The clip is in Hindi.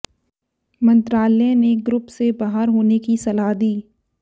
मंत्रालय ने ग्रुप से बाहर होने की सलाह दी